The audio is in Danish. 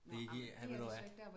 De giver han ved du hvad